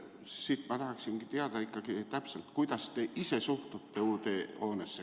Seepärast ma tahaksingi teada, kuidas te ise suhtute uude hoonesse.